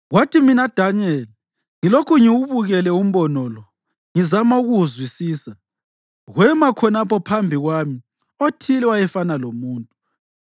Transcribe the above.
Kwathi mina Danyeli ngilokhu ngiwubukele umbono lo, ngizama ukuwuzwisisa, kwema khonapho phambi kwami othile owayefana lomuntu.